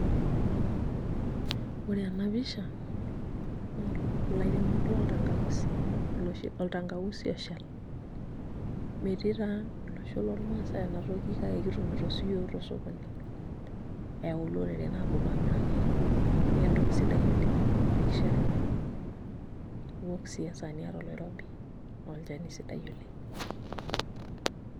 Ore ena pisha naa ilairemok loltankausi, oltankausi oshal metii taa olosho lormaasai ena toki kake kitumito siyiook tosokoni eyau iloreren aaponu aamiraki iyiook naa entoki sidai oleng' ipik shaai, iok sii esaa niata oloirobi naa olchani sidai oleng'.